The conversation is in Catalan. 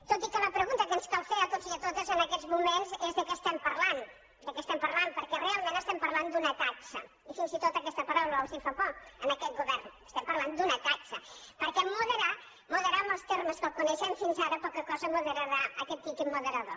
tot i que la pregunta que ens cal fer a tots i a totes en aquests moments és de què estem parlant de què estem parlant perquè realment estem parlant d’una taxa i fins i tot aquesta paraula els fa por a aquest govern estem parlant d’una taxa perquè moderar moderar en els termes que ho coneixem fins ara poca cosa moderarà aquest tiquet moderador